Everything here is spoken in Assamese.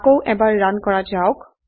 আকৌ এবাৰ ৰান কৰা যাওক